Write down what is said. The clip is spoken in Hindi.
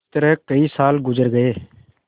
इस तरह कई साल गुजर गये